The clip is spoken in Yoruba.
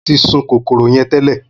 Mo tí sun kòkòrò yẹn tẹ́lẹ̀